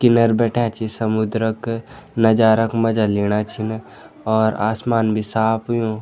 किनर बैठ्याँ छि समुद्र क नजारा कू मजा लेणा छिन और आसमान भी साफ़ हुंयु।